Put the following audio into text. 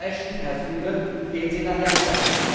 Frau Ashton, Herr Füle, gehen Sie nach Jalta!